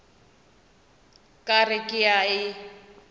ka re ke a e